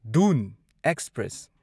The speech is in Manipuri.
ꯗꯨꯟ ꯑꯦꯛꯁꯄ꯭ꯔꯦꯁ